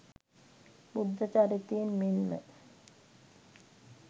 බුද්ධ චරිතයෙන් මෙන්ම